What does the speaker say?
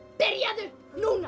byrjaðu núna